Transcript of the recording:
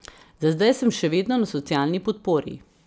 Za zdaj sem še vedno na socialni podpori.